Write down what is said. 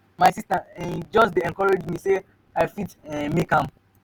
my sista um just dey encourage me sey i fit um make am. um